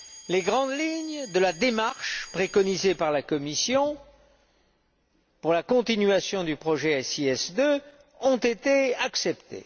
Les grandes lignes de la démarche préconisée par la Commission pour la continuation du projet SIS II ont été acceptées.